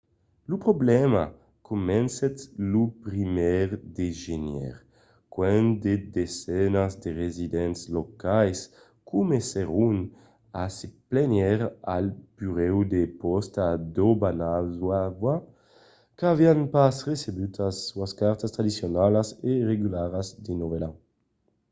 lo problèma comencèt lo 1èr de genièr quand de desenas de residents locals comencèron a se plànher al burèu de pòsta d'obanazawa qu'avián pas recebut sas cartas tradicionalas e regularas de novèl an